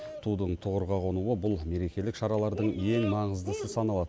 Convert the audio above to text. тудың тұғырға қонуы бұл мерекелік шаралардың ең маңыздысы саналады